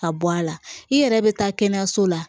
Ka bɔ a la i yɛrɛ bɛ taa kɛnɛyaso la